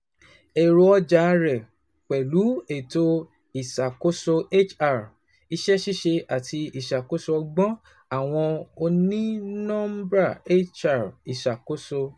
Ẹrọ ọja rẹ pẹlu eto iṣakoso HR, iṣẹ ṣiṣe, ati iṣakoso ọgbọn, awọn onínọmbà HR, iṣakoso